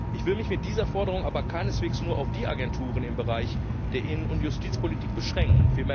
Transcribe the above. Ich will mich mit dieser Forderung aber keineswegs nur auf die Agenturen im Bereich der Innen und Justizpolitik beschränken.